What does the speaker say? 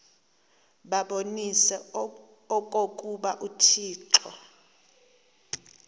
babonise okokuba uthixo